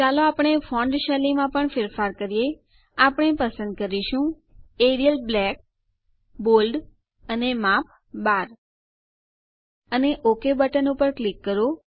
ચાલો આપણે ફોન્ટ શૈલીમાં પણ ફેરફાર કરીએ આપણે પસંદ કરીશું એરિયલ બ્લેક બોલ્ડ અને માપ ૧૨ અને ઓક બટન ઉપર ક્લિક કરો